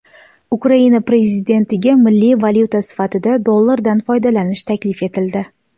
Ukraina prezidentiga milliy valyuta sifatida dollardan foydalanish taklif etildi.